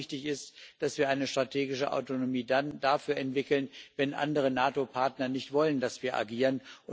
Aber wichtig ist auch, dass wir dann eine strategische Autonomie dafür entwickeln, wenn andere NATO Partner nicht wollen, dass wir agieren.